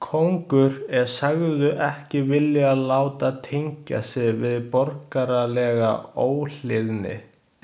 Kóngur er sagður ekki vilja láta tengja sig við borgaralega óhlýðni.